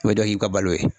O bɛ dɔ k'i ka balo ye